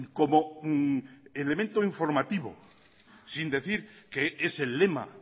como elemento informativo sin decir que es el lema